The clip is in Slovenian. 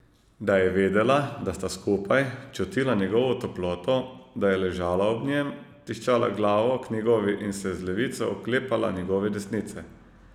Da je vedela, da sta skupaj, čutila njegovo toploto, da je ležala ob njem, tiščala glavo k njegovi in se z levico oklepala njegove desnice.